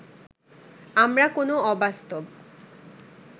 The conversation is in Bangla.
আমরা কোন অবাস্তব